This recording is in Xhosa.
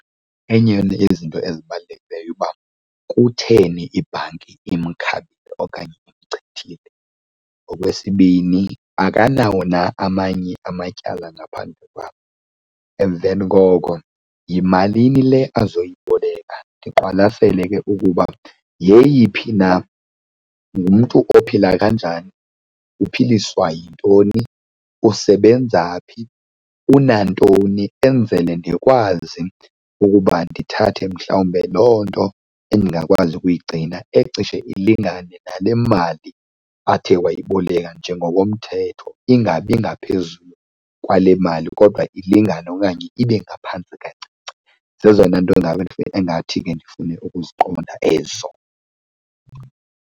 Enye yeyona yezinto ezibalulekileyo uba kutheni ibhanki imkhabile okanye imchithile. Okwesibini, akanawo na amanye amatyala ngaphandle kwam? Emveni koko yimalini le azoyiboleka, ndiqwalasele ke ukuba yeyiphi na, ngumntu ophila kanjani, uphiliswa yintoni, usebenza phi, unantoni, enzele ndikwazi ukuba ndithathe mhlawumbe loo nto endingakwazi ukuyigcina ecishe ilingane nale mali athe wayiboleka njengokomthetho, ingabi ngaphezulu kwale mali kodwa ilingane okanye ibe ngaphantsi kancinci. Zezona nto ingabe, engathi ke ndifune ukuziqonda ezo.